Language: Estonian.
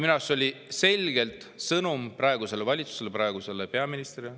Minu arust see oli ettevõtjate esindajalt selge sõnum praegusele valitsusele, praegusele peaministrile.